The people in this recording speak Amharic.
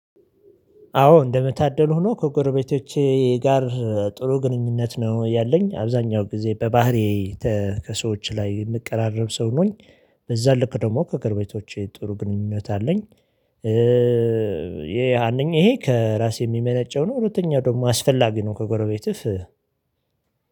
አዎ እንደመታደሉ ሆኖ ከጎረቤቶቼ ጋር ጥሩ ግንኙነት ነው ያለኝ አብዛኛው ጊዜ በባህሪዬ ከሰዎች ላይ የምቀራረብ ሰው ነኝ። በዚያ ልክ ደግሞ ከጎረቤቶቼ ጥሩ ግንኙነት አለኝ። ይሄ ያንን ይሄ ከራሴ የሚመነጨው ነው። ሁለተኛው ደግሞ አስፈላጊ ነው። ከጎረቤትህ